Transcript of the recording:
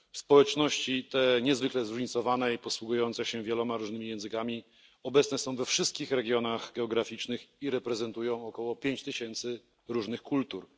Społeczności te, niezwykle zróżnicowane i posługujące się wieloma różnymi językami, obecne są we wszystkich regionach geograficznych i reprezentują około 5 tysięcy różnych kultur.